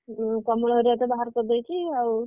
କମଳ ହେରିକା ତ ବାହାର କରି ଦେଇଛି ଆଉ